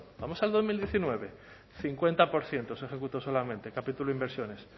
vamos al dos mil diecinueve cincuenta por ciento se ejecutó solamente capítulo inversiones